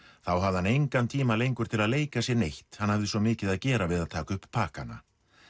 þá hafði hann engan tíma lengur til að leika sér neitt hann hafði svo mikið að gera við að taka upp pakkana